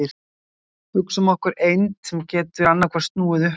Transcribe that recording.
Hugsum okkur eind sem getur annaðhvort snúið upp eða niður.